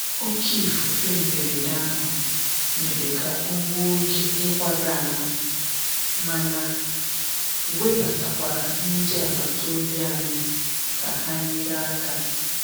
Oké ifufe mberede ahụ mere ka ọ gbuo oge ịkwaga ahụ, mana webatakwara ndị agbata obi anyị ka ha nyere aka.